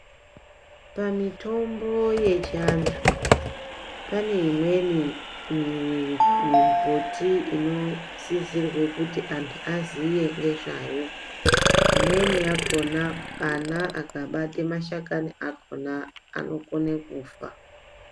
Pamitombo yechiantu, pane imweni nembuti inotizirwe kuti antu aziye nezvayo. Imweni yakhona, ana akabata mashakani akhona anokone kufa.